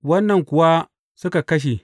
Wannan kuwa suka kashe.